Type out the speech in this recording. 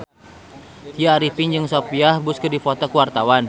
Tya Arifin jeung Sophia Bush keur dipoto ku wartawan